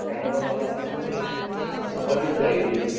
त्यामुळे मला कस ते, अशी पडीत राहिलेलीय जमीन.